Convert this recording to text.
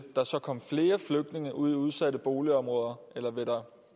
der så kommet flere flygtninge ud i udsatte boligområder eller vil der